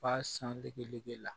Ba san degege la